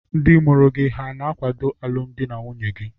Ndị mụrụ gị hà na-akwado alụmdi na nwunye gị?